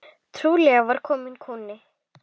Trúlega var kominn kúnni.